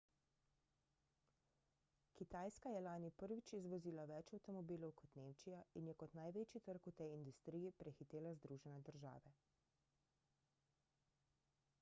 kitajska je lani prvič izvozila več avtomobilov kot nemčija in je kot največji trg v tej industriji prehitela združene države